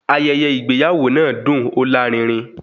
Ayẹyẹ ìgbéyàwó náà dùn, ó lárinrin